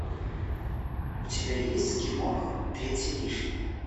у тебя есть киноха третий лишний